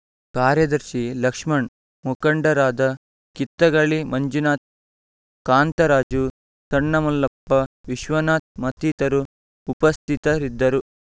ಕಾರ್ಯದರ್ಶಿ ಲಕ್ಷ್ಮಣ್ ಮುಖಂಡರಾದ ಕಿತ್ತಗಳಿ ಮಂಜುನಾಥ್ ಕಾಂತರಾಜು ಸಣ್ಣಮಲ್ಲಪ್ಪ ವಿಶ್ವನಾಥ್ ಮತ್ತಿತರರು ಉಪಸ್ಥಿತರಿದ್ದರು